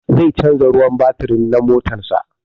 Zai canza ruwan batiri na motan sa